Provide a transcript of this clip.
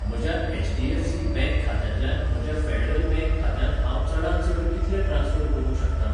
म्हज्या HDFC bank खात्यांतल्यान म्हज्या फेडरल बँक खात्यांत हांव चडांत चड कितले ट्रान्स्फर करूंक शकतां?